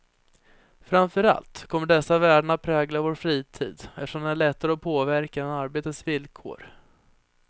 Framför allt kommer dessa värden att prägla vår fritid, eftersom den är lättare att påverka än arbetets villkor.